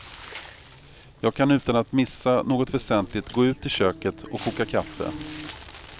Jag kan utan att missa något väsentligt gå ut i köket och koka kaffe.